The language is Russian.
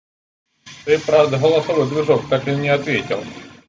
это правда голосовой движок так и не ответил